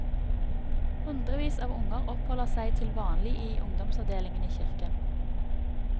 Hundrevis av unger oppholder seg til vanlig i ungdomsavdelingen i kirken.